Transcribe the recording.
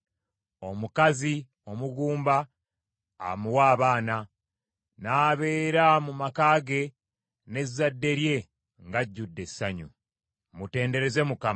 Omukazi omugumba amuwa abaana, n’abeera mu maka ge n’ezzadde lye ng’ajjudde essanyu. Mutendereze Mukama !